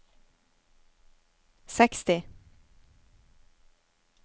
seksti